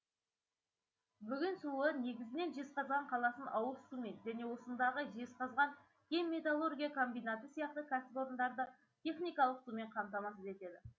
бөген суы негізінен жезқазған қаласын ауыз сумен және осындағы жезқазған кен металлургия комбинаты сияқты кәсіпорындарды техникалық сумен қамтамасыз етеді